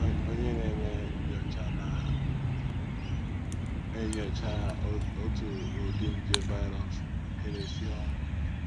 Onye na - eme nnyocha na - enyocha otu ụdị nje “ virus ” nke na - esi ọnwụ